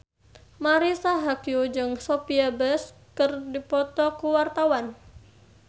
Marisa Haque jeung Sophia Bush keur dipoto ku wartawan